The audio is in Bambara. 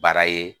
Baara ye